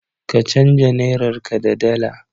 Ka canja nairarka da dala.